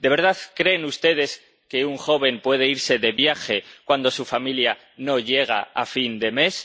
¿De verdad creen ustedes que un joven puede irse de viaje cuando su familia no llega a fin de mes?